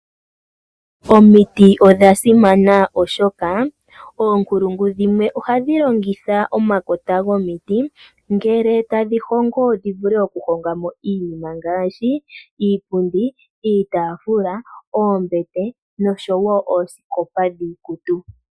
Omiti odha simana oshoka oonkulungu dhimwe ohadhi longitha omakota gomiti ngele tadhi hongo dhivule oku hongamo iinima ngaashi iipundi, iitafula, oombete noshowo oosikopa dhiikutu .